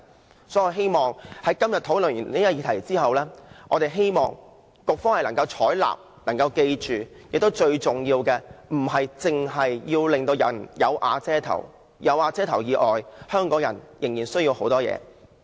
所以，我很希望經過今天的討論後，局方能夠採納我們的建議，並緊記最重要的是，令市民有瓦遮頭並不足夠，香港人仍有很多其他需要。